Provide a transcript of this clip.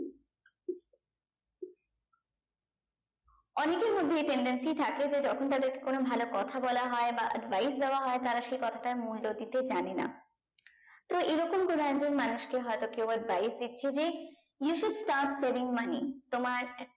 অনেকের মধ্যে এই tendency থাকে যে তখন তাদেরকে কোনো ভালো কথা বলা হয় বা advice দেওয়া হয় তারা সেই কথাটার মূল্য দিতে জানে না তো এই রকম কোনো একজন মানুষকে হয়তো কেও advice দিচ্ছে যে ওর বাড়ির দিকথেকে you should start saving money তোমার